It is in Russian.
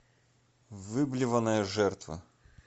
выблеванная жертва